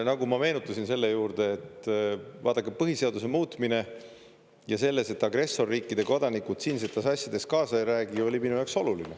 Nagu ma meenutasin selle juurde, et vaadake, põhiseaduse muutmine ja selles, et agressorriikide kodanikud siinsetes asjades kaasa ei räägi, oli minu jaoks oluline.